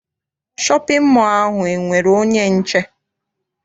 Shọpịn mọọ ahụ enwere onye nche?